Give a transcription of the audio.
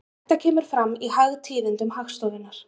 Þetta kemur fram í hagtíðindum Hagstofunnar.